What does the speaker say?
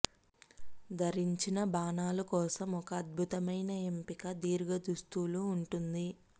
ధరించిన బాణాలు కోసం ఒక అద్భుతమైన ఎంపిక దీర్ఘ దుస్తులు ఉంటుంది